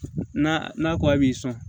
N'a n'a ko a b'i sɔn